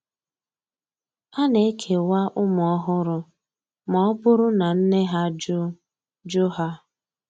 A na-ekewa ụmụ ọhụrụ ma ọ bụrụ na nne ha jụ jụ ha